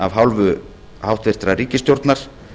af hálfu hæstvirtrar ríkisstjórnar